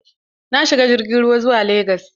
Na shiga jirgin ruwa zuwa legas.